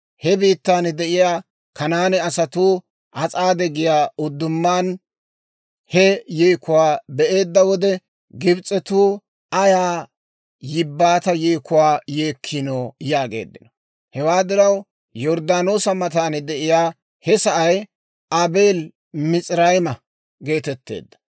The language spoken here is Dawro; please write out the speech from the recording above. He biittaan de'iyaa Kanaane asatuu As'aade giyaa uddumaan he yeekuwaa be'eedda wode, «Gibs'etuu ayaa yibbaata yeekuwaa yeekkino!» yaageeddino. Hewaa diraw Yorddaanoosa matan de'iyaa he sa'ay, Aabeeli-Mis'irayma geetetteedda.